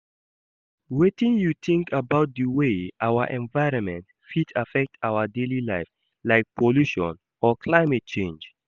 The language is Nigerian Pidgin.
Wetin you think about di way our environment fit affect our daily life, like pollution or climate change?